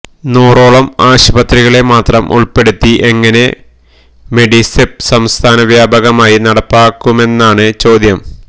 നൂറോളം ആശുപത്രികളെ മാത്രം ഉൾപ്പെടുത്തി എങ്ങനെ മെഡിസെപ് സംസ്ഥാനവ്യാപകമായി നടപ്പാക്കുമെന്നാണു ചോദ്യം